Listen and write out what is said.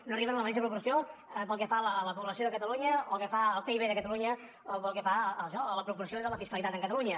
no arriben en la mateixa proporció pel que fa a la població de catalunya pel que fa al pib de catalunya o pel que fa a la proporció de la fiscalitat amb catalunya